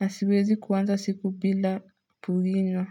na siwezi kuanza siku bila kuinywa.